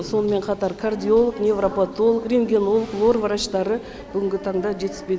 сонымен қатар кардиолог невропатолог рентгенолог лор врачтары бүгінгі таңда жетіспейді